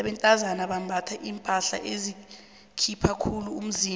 abentazana bambatha iimpahla ezikhipha khulu imizimba